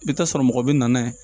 I bɛ taa sɔrɔ mɔgɔ bɛ na n'a ye